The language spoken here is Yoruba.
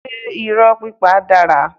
Ṣé irọ́ pípa dára?